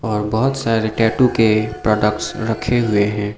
और बहोंत सारे टैटू के प्रोडक्ट्स रखे हुए हैं।